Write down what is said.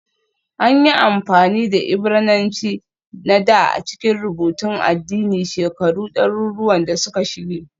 An yi amfani da Ibrananci na dā a cikin rubutun addini shekaru ɗaruruwan da suka shige